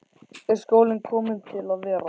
Er skólinn kominn til að vera?